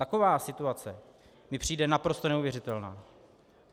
Taková situace mi přijde naprosto neuvěřitelná.